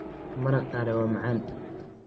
Maraq qare waa macaan.